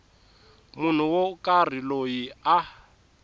munhu wo karhi loyi a